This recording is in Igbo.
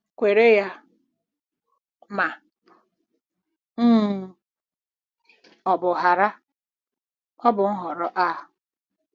Kwere ya ma um ọ bụ ghara, ọ bụ Nhọrọ A.